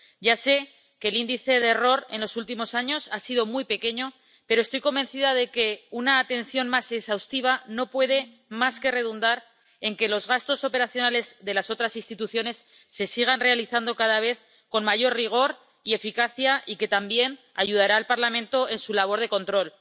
Ya sé que el índice de error en los últimos años ha sido muy pequeño, pero estoy convencida de que una atención más exhaustiva no puede más que redundar en que los gastos operativos de las otras instituciones se sigan realizando cada vez con mayor rigor y eficacia, y que también ayudará al Parlamento en su labor de control.